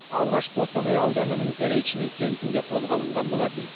алғаш қостанай ауданының заречный кентінде қолға алынған болатын